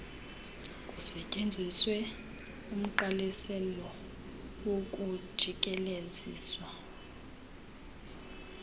kusetyenziswe umgqaliselo wokujikelezisa